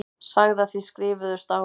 Sagði að þið skrifuðust á.